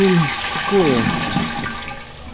ой такое